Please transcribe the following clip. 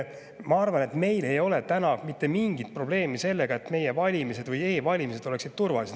Ma arvan, et meil ei ole täna mitte mingit, kas meie valimised või e-valimised on turvalised.